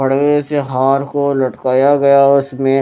बड़े से हार को लटकाया गया है उसमें।